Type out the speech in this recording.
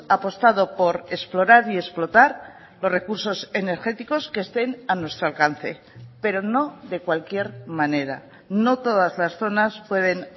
apostado por explorar y explotar los recursos energéticos que estén a nuestro alcance pero no de cualquier manera no todas las zonas pueden